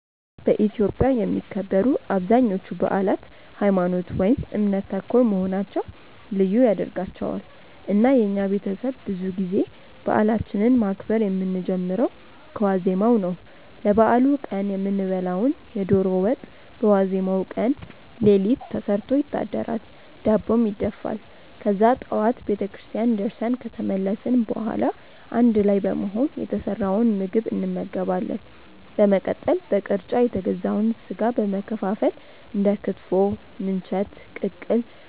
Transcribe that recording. በኢትዮጵያ የሚከበሩ አብዛኞቹ በአላት ሀይማኖት ( እምነት) ተኮር መሆናቸው ልዩ ያደርጋቸዋል። እና የኛ ቤተሰብ ብዙ ጊዜ በአላችንን ማክበር የምንጀምረው ከዋዜማው ነው። ለበአሉ ቀን የምንበላውን የዶሮ ወጥ በዋዜማው ቀን ሌሊት ተሰርቶ ይታደራል፤ ዳቦም ይደፋል። ከዛ ጠዋት ቤተክርስቲያን ደርሰን ከተመለስን በኋላ አንድ ላይ በመሆን የተሰራውን ምግብ እንመገባለን። በመቀጠል በቅርጫ የተገዛውን ስጋ በመከፋፈል እንደ ክትፎ፣ ምንቸት፣ ቅቅል፣